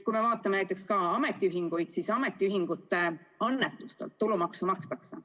Kui me vaatame näiteks ametiühinguid, siis ametiühingute annetustelt tulumaksu makstakse.